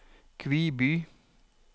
Kviby